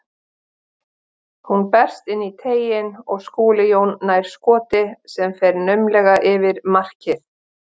Hún berst inn í teiginn og Skúli Jón nær skoti sem fer naumlega yfir markið.